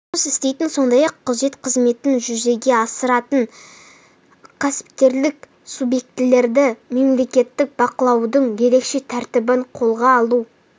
жұмыс істейтін сондай-ақ күзет қызметін жүзеге асыратын кәсіпкерлік субьектілерді мемлекеттік бақылаудың ерекше тәртібін қолға алу